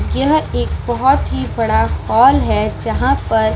यह एक बहुत ही बड़ा हॉल है जहाँ पर --